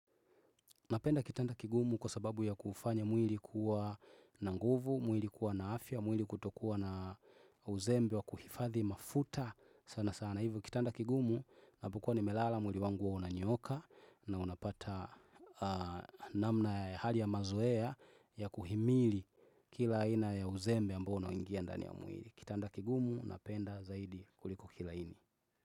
Napenda kitanda kigumu kwa sababu ya kufanya mwili kuwa na nguvu, mwili kuwa na afya, mwili kutokuwa na uzembe wa kuhifadhi mafuta sana sana. Hivyo kitanda kigumu napokwa nimelala mwili wangu huwa unanyooka na unapata namna hali ya mazoea ya kuhimili kila ina ya uzembe ambao unaoingia ndani ya mwili. Kitanda kigumu napenda zaidi kuliko kilaini.